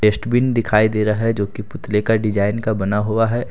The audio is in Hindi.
डस्टबिन दिखाई दे रहा है जो कि पुतले का डिज़ाइन का बना हुआ है।